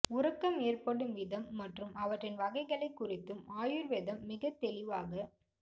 உறக்கம் ஏற்படும் விதம் மற்றும் அவற்றின் வகைகளை குறித்தும் ஆயுர்வேதம் மிகத்தெளிவாக